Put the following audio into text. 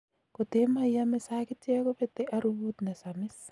kotee maiamee sagityek kobete arubut nesamis